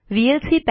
VLC